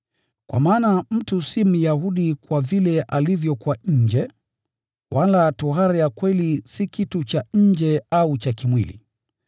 Kwa maana mtu si Myahudi kwa vile alivyo kwa nje, wala tohara ya kweli si kitu cha nje au cha kimwili.